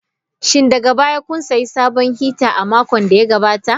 Shin daga baya kun sayi sabon hita a makon da ya gabata?